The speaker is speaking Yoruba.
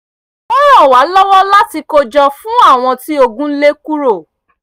ó ran wa lọ́wọ́ láti kó jọ fún àwọn tí ogun lé kúrò